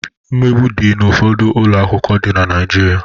Mmegbu di n'ụfọdụ ụlọ akwụkwọ dị na Naịjirịa.